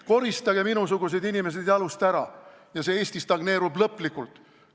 Koristage minusugused inimesed jalust ära ja Eesti stagneerub lõplikult!